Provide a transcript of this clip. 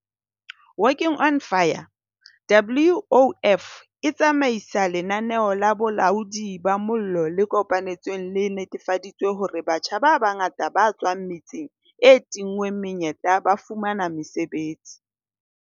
Working on Fire, WOF, e tsamaisa lenaneo la bolaodi ba mollo le kopanetsweng le netefaditseng hore batjha ba bangata ba tswang metseng e tinngweng menyetla ba fumana mosebetsi.